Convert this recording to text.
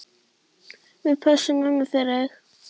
Við pössum ömmu fyrir þig.